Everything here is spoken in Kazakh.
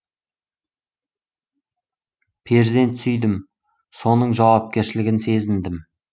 перзент сүйдім соның жауапкершілігін сезіндім